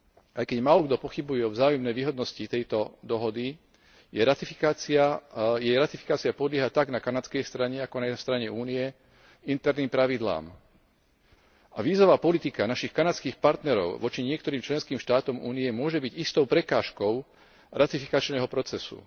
Aj keď málokto pochybuje o vzájomnej výhodnosti tejto dohody, jej ratifikácia podlieha tak na kanadskej strane, ako aj na strane Únie interným pravidlám. A vízová politika našich kanadských partnerov voči niektorým členským štátom Únie môže byť istou prekážkou ratifikačného procesu.